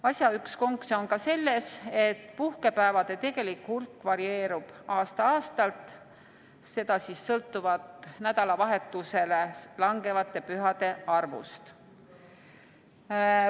Asja üks konks on ka selles, et puhkepäevade tegelik hulk varieerub aasta-aastalt, seda sõltuvalt nädalavahetusele langevate pühade arvust.